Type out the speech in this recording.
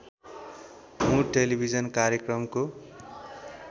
मुर टेलिभिजन कार्यक्रमको